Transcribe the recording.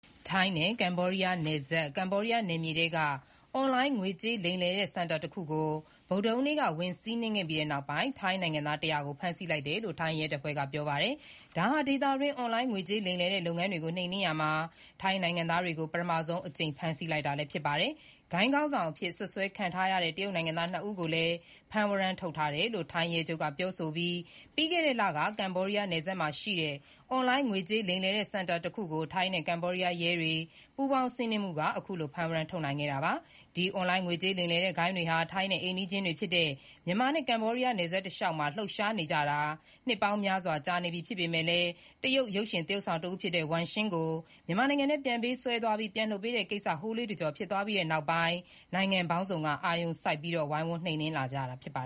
ထိုင်းနဲ့ကမ္ဘောဒီးယားနယ်စပ် ကမ္ဘောဒီးယားနယ်မြေထဲက အွန်လိုင်းငွေလိမ်တဲ့စင်တာတခုကို ဗုဒ္ဓဟူး နေ့မှာဝင်စီးနင်းပြီးတဲ့နောက် ထိုင်းနိုင်ငံသား (၁၀၀) ကို ဖမ်းဆီးလိုက်တယ်လို့ ထိုင်းရဲတပ်ဖွဲ့က ပြော ပါတယ်။ ဒါဟာ ဒေသအတွင်း အွန်လိုင်းငွေလိမ်လုပ်ငန်းတွေနှိမ်နင်းရာမှာ ထိုင်းနိုင်ငံသားတွေကို ပထမဦးဆုံးအကြိမ် ဖမ်းဆီးလိုက်တာလည်း ဖြစ်ပါတယ်။ ဂိုဏ်းခေါင်းဆောင်အဖြစ်စွပ်စွဲခံထားရတဲ့ တရုတ် နိုင်ငံသား ၂ ဦးကိုလည်း ဖမ်းဝရမ်းထုတ်ထားတယ် လို့ ထိုင်းရဲချုပ် Thatchai Pitaneelaboot ပြောအပြီး ပြီးခဲ့တဲ့လက ကမ္ဘောဒီးယားနယ်စပ်မြို့ Poipet မှာရှိတဲ့ အွန်လိုင်းငွေကြေးလိမ်လည်တဲ့စင်တာတခုကို ထိုင်းနဲ့ကမ္ဘောဒီးယားရဲတွေ ပူးပေါင်းစီးနင်းမှုက အခုလို ဖမ်းဝရမ်းထုတ်နိုင်ခဲ့တာပါ။ ဒီ အွန်လိုင်းငွေကြေးလိမ်လည်တဲ့ဂိုဏ်းတွေဟာ ထိုင်းနဲ့အိမ်နီးချင်းတွေဖြစ်တဲ့ မြန်မာနဲ့ကမ္ဘောဒီးယား နယ်စပ်တလျှောက်မှာ လှုပ်ရှားနေကြတာ နှစ်ပေါင်းများစွာကြာနေပြီဖြစ်ပေမဲ့လည်း တရုတ် ရုပ်ရှင် သရုပ်ဆောင်တဦးဖြစ်တဲ့ ဝမ်ရှင်းရှင်းကို မြန်မာနိုင်ငံထဲပြန်ပေးဆွဲသွားပြီး ပြန်လွှတ်ပေးတဲ့ကိစ္စ ဟိုးလေးတကျော်ဖြစ်သွားပြီးတဲ့နောက်ပိုင်း နိုင်ငံပေါင်းစုံက အာရုံစိုက် ဝိုင်းဝန်း နှိမ်နင်းလာကြတာပါ